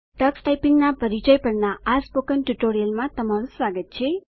Tux ટાઈપીંગના પરિચય પરના સ્પોકન ટ્યુટોરીયલમાં તમારું સ્વાગત છે